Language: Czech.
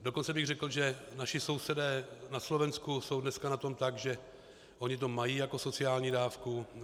Dokonce bych řekl, že naši sousedé na Slovensku jsou dneska na tom tak, že oni to mají jako sociální dávku.